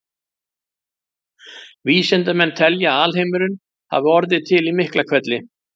Vísindamenn telja að alheimurinn hafi orðið til í Miklahvelli.